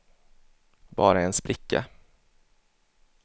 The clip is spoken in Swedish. bara en spricka